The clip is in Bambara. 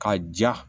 Ka ja